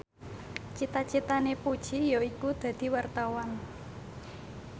cita citane Puji yaiku dadi wartawan